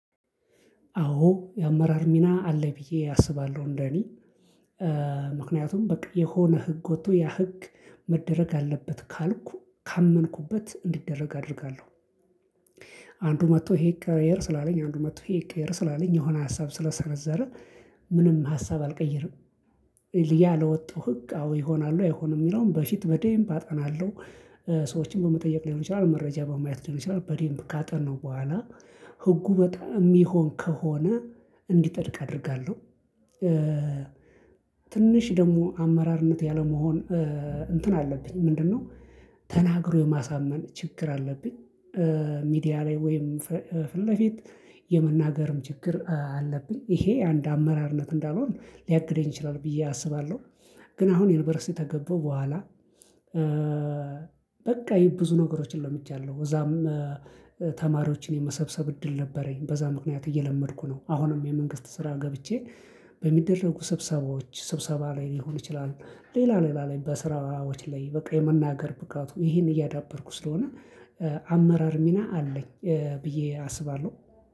አዎ የአመራር ሚና አለ ብዬ አስባለሁ እንደኔ ምክንያቱም በቃ የሆነ ህግ ወጥቶ የህግ መደረግ አለበት ካልኩ ካመንኩበት እንዲደረግ አደርጋለሁ። አንዱ መጥቶ ይሄ ይቀየር ስላለኝ አንዱ መጥቶ ይሄ ይቀየር ስላለኝ ምንም ሀሳብ ስለሰነዘረ ምንም ሀሳብ አልቀይርም። ያ ለወጣው ህግ አዎ ይሆናል አይሆንም የሚለውን በፊት በደንብ አጠናለው። ሰዎችን በመጠየቅ ሊሆን ይችላል መረጃ በማየት ሊሆን ይችላል በደንም ካጠነው በኋላ ህጉ በጣም የሚሆን ከሆነ እንዲጻድቅ አደርጋለሁ። ትንሽ ደግሞ አመራርነት ያለመሆን እንትን አለብኝ ምንድነው? ተናግሮ የማሳመን ችግር አለብኝ። ሚዲያ ላይ ወይም ፊት ለፊት የመናገርም ችግር አለብኝ ይሄ አንድ አመራርነት እንዳልሆን ሊያግደኝ ይችላል ብዬ አስባለሁ። ግን አሁን ዩኒቨርሲቲ ተገበው በኋላ በቃ ይሄ ብዙ ነገሮችን ለምቻለሁ እዛም ተማሪዎችን የመሰብሰብ እድል ነበረኝ በዛ ምክንያት እየለመድኩ ነው። አሁንም የመንግስት ስራ ገብቼ በሚደረጉ ስብሰባዎች ስብሰባ ላይ ሊሆን ይችላል ሌላ ሌላ ላይ በስራዎች ላይ በቃ የመናገር ብቃቱ ይሄን እያዳበርኩ ስለሆነ። አመራር ሚና አለኝ ብዬ አስባለሁ